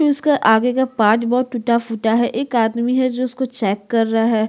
उसके आगे का पार्ट बहुत टूटा -फूटा है एक आदमी है जो उसको चेक कर रहा हैं।